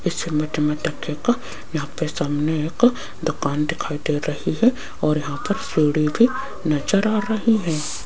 इस इमेज में देखियेगा यहां पे सामने एक दुकान दिखाई दे रही है और यहां पर नजर आ रही है।